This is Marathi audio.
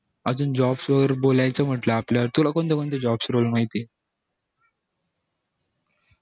अजून jobs वर बोलायचं म्हणटलं आपल्या तुला कोणते कोणते jobs role माहित ये